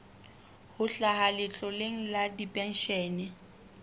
ho hlaha letloleng la dipenshene